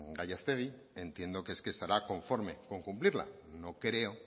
gallastegui entiendo que es que estará conforme con cumplirla no creo